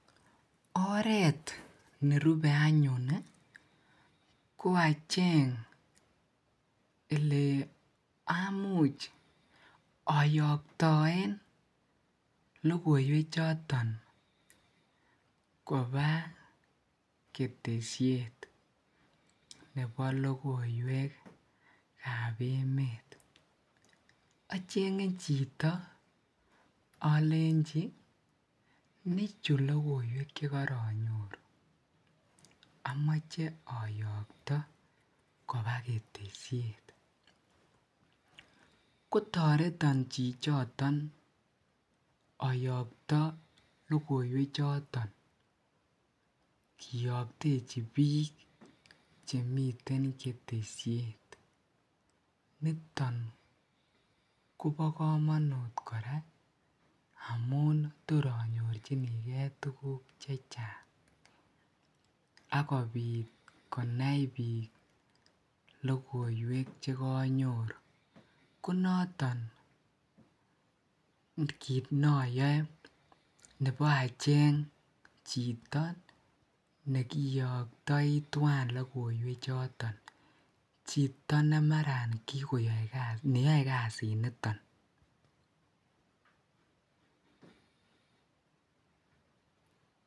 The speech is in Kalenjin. Oreet nerube anyun ko acheng elee amuch ayoktoen lokoiwe choton koba ketesiet nebo lokoiwekab emet, ochenge chito olenchi nichu lokoiwek chekoronyoru amoche ayokto kobaa ketesiet, kotoreton chichoton oyoto lokoiwe choton kiyoktechi biik chemiten ketesiet, niton kobokomonut kora amun tor anyorchinike tukuk chechang ak kobiit konai biik lokoiwek chekonyoru, konoton kiit noyoe nebo acheng chito nekiyoktoi twaan lokoiwek choton, chito nemaran kikoyoe neyoe kasiniton.